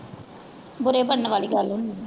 ਬੁਰੇ ਬਣਨ ਵਾਲੀ ਗੱਲ ਹੁੰਦੀ।